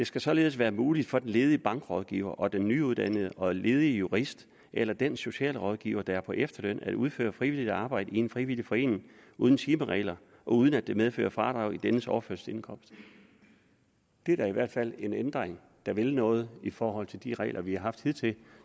skal således være muligt for den ledige bankrådgiver og den nyuddannede og ledige jurist eller den socialrådgiver der er på efterløn at udføre frivilligt arbejde i en frivillig forening uden timeregler og uden at det medfører fradrag i dennes overførselsindkomst det er da i hvert fald en ændring der vil noget i forhold til de regler vi har haft hidtil og